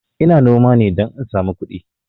Ina noma ne don in sami kudi